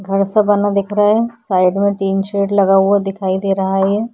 घर सा बना दिख रहा है। साइड में टीन शेड लगा हुआ दिखाई दे रहा है ये --